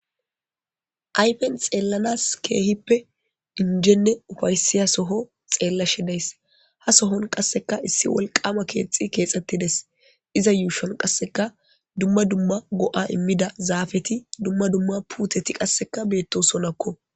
aypen xeellanas keehippe injenne ufaysiya soho xeella shidays ha sohon qasseka issi wolqama keexxi keexxettides iza yuushon qasseka dumma dumma go7a immida zaafeti dumma dumma puuteti qasseka beetto sonakko